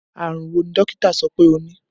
Àrùn wo ni dókítà sọ pé o ní?